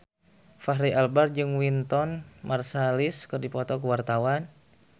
Fachri Albar jeung Wynton Marsalis keur dipoto ku wartawan